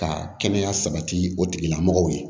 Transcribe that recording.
Ka kɛnɛya sabati o tigilamɔgɔw ye